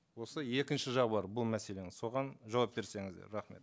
осы екінші жағы бар бұл мәселенің соған жауап берсеңіздер рахмет